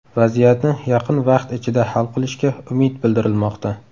Vaziyatni yaqin vaqt ichida hal qilishga umid bildirilmoqda.